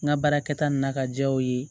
N ka baarakɛta nana ka diya o ye